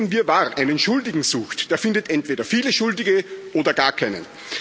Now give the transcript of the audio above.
Wer in diesem Wirrwarr einen Schuldigen sucht, der findet entweder viele Schuldige oder gar keinen.